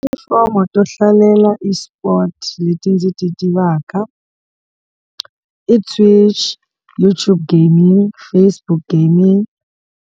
Tipulatifomo to hlalela eSport leti ndzi ti tivaka i Twitch, YouTube gaming, Facebook gaming.